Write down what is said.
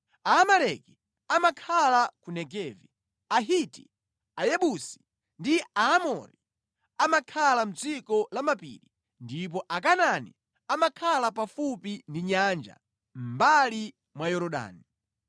Aamaleki amakhala ku Negevi, Ahiti, Ayebusi ndi Aamori amakhala mʼdziko la mapiri ndipo Akanaani amakhala pafupi ndi nyanja, mʼmbali mwa Yorodani.”